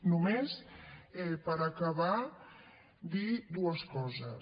només per acabar dir dues coses